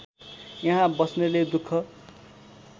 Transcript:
यहाँ बस्नेले दुख